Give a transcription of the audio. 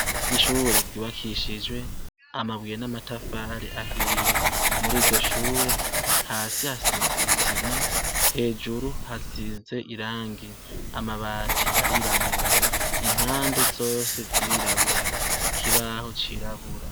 Ishure ryubakishijwe amabuye n'amatafari ahiye. Muri iryo shure, hasi hasize isima, hejuru hasize irangi. Amabati arirabura, impande zose zirirabura, ikibaho cirabura.